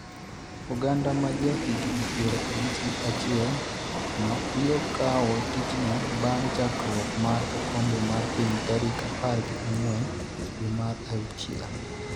oganda ma ja higni piero abich gi achiel no biro kawo tijno bang' chakruok mar okombe mar piny tarik apar gi ang'wen dwe mar auchiel